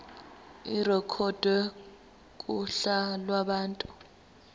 irekhodwe kuhla lwabantu